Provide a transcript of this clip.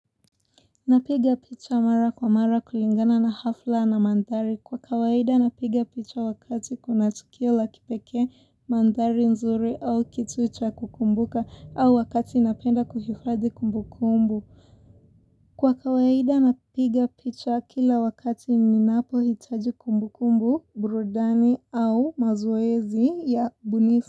Napiga picha mara kwa mara kulingana na hafla na mandhari. Kwa kawaida napiga picha wakati kuna tukio la kipeke mandari nzuri au kitu cha kukumbuka au wakati inapenda kuhifadi kumbu kumbu. Kwa kawaida napiga picha kila wakati ninapohitaji kumbu kumbu, burudani au mazoezi ya ubunifu.